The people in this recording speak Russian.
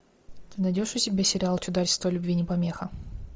ты найдешь у себя сериал чудачество любви не помеха